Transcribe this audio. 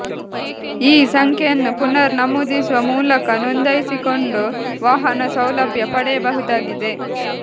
ಈ ಸಂಖ್ಯೆಯನ್ನು ಪುನರ್ ನಮೂದಿಸುವ ಮೂಲಕ ನೋಂದಾಯಿಸಿಕೊಂಡು ವಾಹನ ಸೌಲಭ್ಯ ಪಡೆಯಬಹುದಾಗಿದೆ